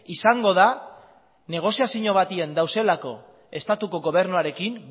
izango da negoziazio batean daudelako estatuko gobernuarekin